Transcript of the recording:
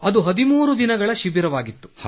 ಅದು 13 ದಿನಗಳ ಶಿಬಿರವಾಗಿತ್ತು